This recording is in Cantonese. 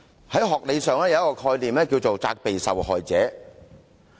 學理上有一個概念是"責備受害者"。